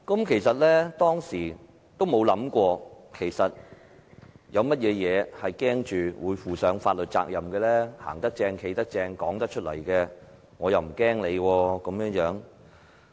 其實，當時我並沒有想過有甚麼事會令我負上法律責任，我"行得正，企得正"，說出口的話，有甚麼好怕？